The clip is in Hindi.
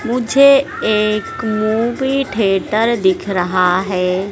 मुझे एक मूवी ठेटर दिख रहा है।